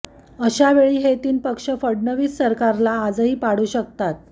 अशावेळी हे तीन पक्ष फडणवीस सरकारला आजही पाडू शकतात